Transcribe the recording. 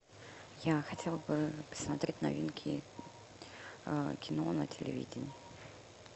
я хотела бы посмотреть новинки кино на телевидении